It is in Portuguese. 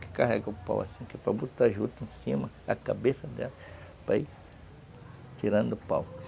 que carrega o pau assim, que é para botar a juta em cima, da cabeça dela, para ir tirando o pau.